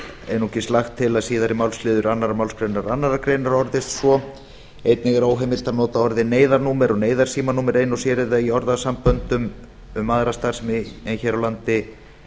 einungis lagt til að síðari málsliður annarri málsgrein annarrar greinar orðist svo einnig er óheimilt að nota orðið neyðarnúmer eða neyðarsímanúmer ein og sér eða í orðasamböndum um aðra starfsemi en hér á landi